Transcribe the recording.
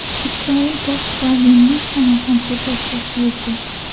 Isroil bosh ravvini Samarqandga tashrif buyurdi.